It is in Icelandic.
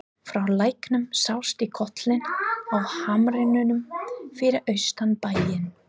Frá læknum sást í kollinn á hamrinum fyrir austan bæinn.